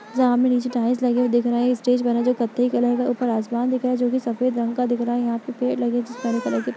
जहां हमे नीचे टाइल्स लगे हुए दिख रहे है स्टेज बना है जोकि कत्थई कलर का है ऊपर आसमान दिख रहा है जो कि सफ़ेद रंग का दिख रहा है यहाँ पर पेड़ लगा है जिसमे हरे कलर --